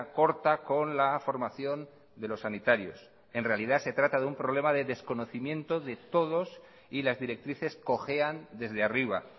corta con la formación de los sanitarios en realidad se trata de un problema de desconocimiento de todos y las directrices cojean desde arriba